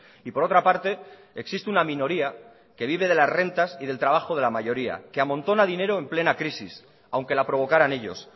y por otra parte existe una minoría que vive de las rentas y del trabajo de la mayoría que amontona dinero en plena crisis aunque la provocaran ellos